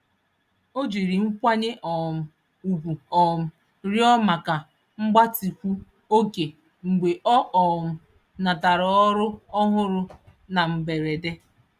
Ọ jiri nkwanye um ùgwù um rịọ maka mgbatịkwu-oge mgbe ọ um natara ọrụ ọhụrụ na mberede.